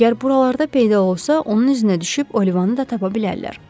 Əgər buralarda peyda olsa, onun izinə düşüb Olivanı da tapa bilərlər.